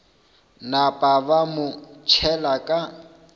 napa ba mo tšhela ka